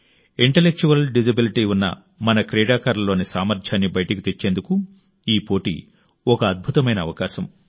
intellectual disability ఉన్న మన క్రీడాకారుల్లోని సామర్థ్యాన్ని బయటికి తెచ్చేందుకు ఈ పోటీ ఒక అద్భుతమైన అవకాశం